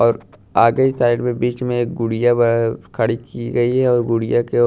और आगे ही साइड में बीच में एक गुड़िया खड़ी की गई है और गुड़िया के--